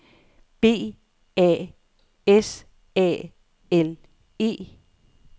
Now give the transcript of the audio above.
B A S A L E